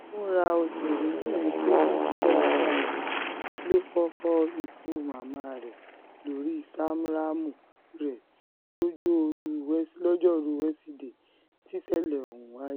fúnra òṣèrébìnrin tó dúdú dáadáa yìí ló fọ́fọ́ ikú màmá rẹ̀ lórí smarthraàmù rẹ̀ lojoruu wesidee tísẹ̀lẹ̀ ọ̀hún wáyé